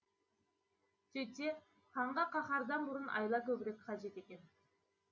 сөйтсе ханға қаһардан бұрын айла көбірек қажет екен